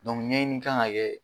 ɲɛɲini kan ŋa kɛ